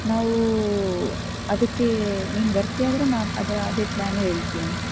ನಾವು ಅದಕ್ಕೆ ನೀನ್ ಬರ್ತೀಯಾದ್ರೆ ನಾನ್ ಅದರ ಅದೇ plan ಹೇಳ್ತಿನಿ.